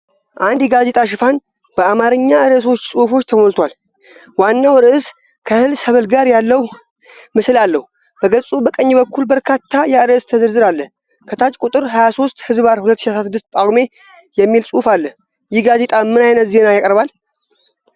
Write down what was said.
አንድ የጋዜጣ ሽፋን በአማርኛ ርዕሶችና ጽሑፎች ተሞልቷል። ዋናው ርዕስ ከእህል ሰብል ጋር ያለ ምስል አለው። በገጹ በቀኝ በኩል በርካታ የአርእስት ዝርዝር አለ። ከታች 'ቁጥር 23/2016 ጳጉሜ' የሚል ጽሑፍ አለ። ይህ ጋዜጣ ምን ዓይነት ዜና ያቀርባል?